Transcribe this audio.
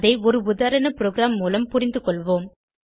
அதை ஒரு உதாரண ப்ரோகிராம் மூலம் புரிந்துகொள்வோம்